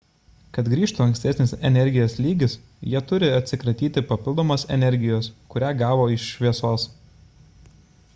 kad grįžtų ankstesnis energijos lygis jie turi atsikratyti papildomos energijos kurią gavo iš šviesos